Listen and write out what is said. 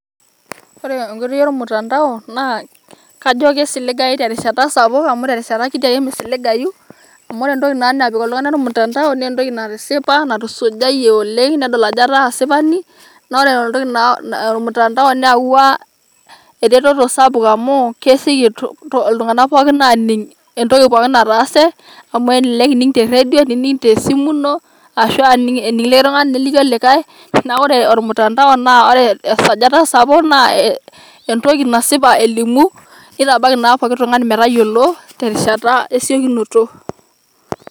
woore enkoitoi olmtandao naa kaajo kisiligayu terishata sapuk amu kajo tenkiti rishata ake misiligayu amu wore entoki napik oltungani olmtandao na entoki natusujayie oleng' nedol ajo etaa asipani .naa wore olmtandao neyaua eretoto sapuk amu kesieki iltunganak pookin aning' entoki pookin natase amu elelek ining' te redio nelelek ining' tesimu ino arashu ining' neliki olikae naa wore olmtandao na wore tesajata sapuk naa entoki nasipa elimu nitabaiki pooki tung'ani metayiolo terishata esiokinoto